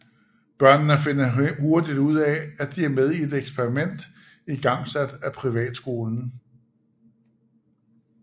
Børnene finder hurtigt ud af at de er med i et eksperiment igangsat af privatskolen